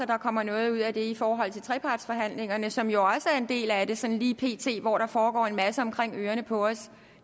at der kommer noget ud af det i forhold til trepartsforhandlingerne som jo er en del af det sådan lige pt og hvor der foregår en masse omkring ørerne på os